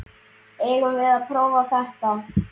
Eigum við að prófa þetta?